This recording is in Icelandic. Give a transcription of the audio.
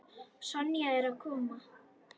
Sonja er að koma.